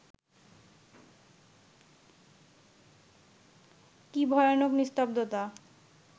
কি ভয়ানক নিস্তব্ধতা